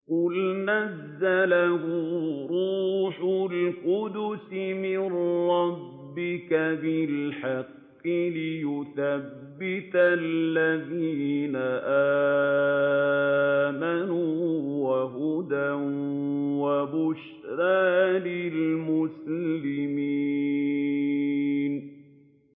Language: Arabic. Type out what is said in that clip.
قُلْ نَزَّلَهُ رُوحُ الْقُدُسِ مِن رَّبِّكَ بِالْحَقِّ لِيُثَبِّتَ الَّذِينَ آمَنُوا وَهُدًى وَبُشْرَىٰ لِلْمُسْلِمِينَ